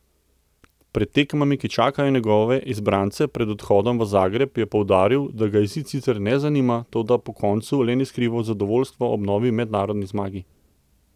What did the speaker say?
Pred tekmami, ki čakajo njegove izbrance pred odhodom v Zagreb je poudaril, da ga izid sicer ne zanima, toda po koncu le ni skrival zadovoljstva ob novi mednarodni zmagi.